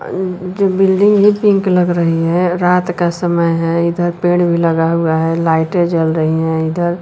जो बिल्डिंग ही पिंक लग रही है रात का समय है इधर पेड़ भी लगा हुआ है लाइटें जल रही है इधर--